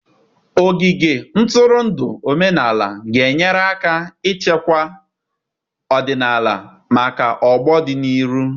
Ogige ntụrụndụ omenala ga-enyere aka ichekwa ọdịnala maka ọgbọ n'ọdịnihu.